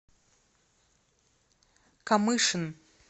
камышин